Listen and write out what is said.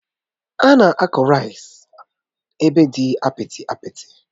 Ánà akụ osikapa ébé dị apịtị apịtị